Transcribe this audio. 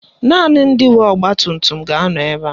Naanị ndị nwe ọgbatumtum ga-anọ ebe a